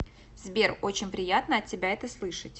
сбер очень приятно от тебя это слышать